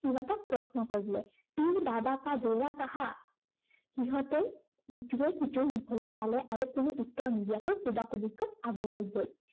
সিহঁতক প্ৰশ্ন কৰিলে। পীড় বাবা কা দৌড়া কাহা। সিহঁতে ইটোৱে সিটোৰ মুখলৈ চালে আৰু কোনো উত্তৰ নিদিয়াকৈ কুবাকুবিকৈ আগুৱাই গল।